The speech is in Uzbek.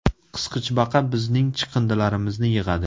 Qisqichbaqa bizning chiqindilarimizni yig‘adi.